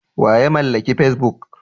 Wa ya mallaki facebook?